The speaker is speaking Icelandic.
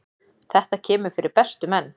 Þetta kemur fyrir bestu menn.